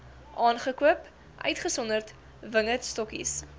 aangekoop uitgesonderd wingerdstokkies